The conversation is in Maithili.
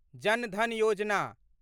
जन धन योजना